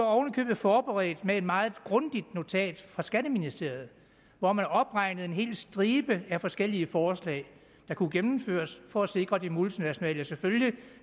forberedt med et meget grundigt notat fra skatteministeriet hvor man opregnede en hel stribe af forskellige forslag der kunne gennemføres for at sikre at de multinationale selvfølgelig